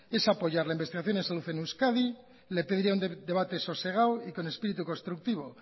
es apoyar la investigación y la salud en euskadi le pediría un debate sosegado y con espíritu constructivo